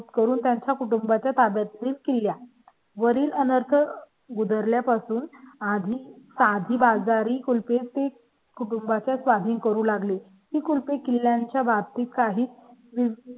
करून त्यांच्या कुटुंबा च्या ताब्या तील किल्ल्या वरील अनर्थ उतरल्या पासून आधी साधी बाजारी कुल पे ते कुटुंबा च्या स्वाधीन करू लागली एक किल्ल्यांच्या बाबतीत काही